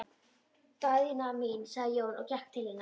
Daðína mín, sagði Jón og gekk til hennar.